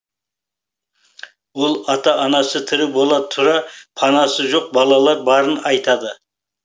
ол ата анасы тірі бола тұра панасы жоқ балалар барын айтады